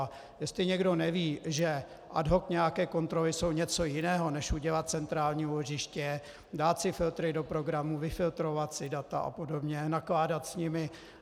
A jestli někdo neví, že ad hoc nějaké kontroly jsou něco jiného než udělat centrální úložiště, dát si filtry do programu, vyfiltrovat si data a podobně, nakládat s nimi.